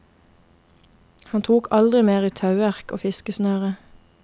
Han tok aldri mer i tauverk og fiskesnøre.